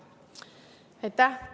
Aitäh!